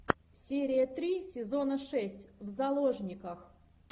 серия три сезона шесть в заложниках